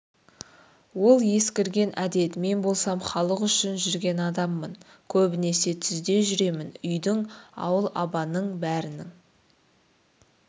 ол ескірген әдет мен болсам халық үшін жүрген адаммын көбінесе түзде жүремін үйдің ауыл-абаның бәрінің